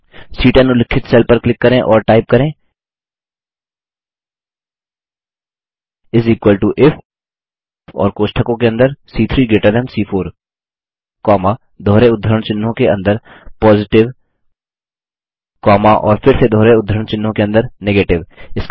C10 उल्लिखित cell पर click करें और टाइप करें इस इक्वल टो इफ और कोष्टकों के अंदर सी3 ग्रेटर थान सी4 कौमा दोहरे उद्धरण चिह्नों के अंदर पॉजिटिव कौमा और फिर से दोहरे उद्धरण चिह्नों के अंदर नेगेटिव